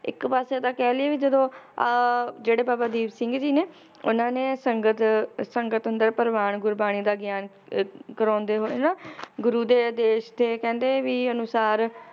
ਇੱਕ ਪਾਸੇ ਤਾਂ ਕਹਿ ਲਇਏ ਵੀ ਜਦੋਂ ਆਹ ਜਿਹੜੇ ਬਾਬਾ ਦੀਪ ਸਿੰਘ ਜੀ ਨੇ, ਉਹਨਾਂ ਨੇ ਸੰਗਤ, ਸੰਗਤ ਅੰਦਰ ਪ੍ਰਵਾਨ ਗੁਰਬਾਣੀ ਦਾ ਗਿਆਨ ਅਹ ਕਰਾਉਂਦੇ ਹੋਏ ਨਾ ਗੁਰੂ ਦੇ ਆਦੇਸ਼ ਤੇ ਕਹਿੰਦੇ ਵੀ ਅਨੁਸਾਰ